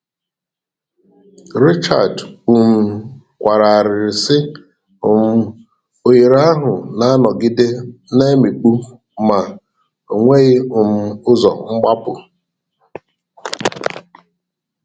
Richard um kwara arịrị sị: um "Oghere ahụ na-anọgide na-emikpu ma ọ nweghị um ụzọ mgbapụ.